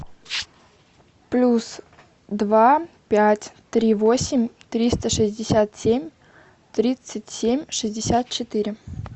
плюс два пять три восемь триста шестьдесят семь тридцать семь шестьдесят четыре